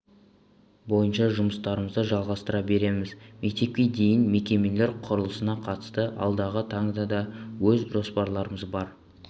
бойынша жұмыстарымызды жалғастыра береміз мектепке дейінгі мекемелер құрылысына қатысты алдағы таңда да өз жоспарларымыз бар